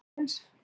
Kona ársins?